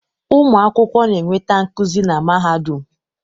Ụmụ akwụkwọ na-enweta nkuzi na mahadum